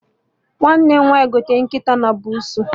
Nwanne m nwaanyị gotere nkịta na buusu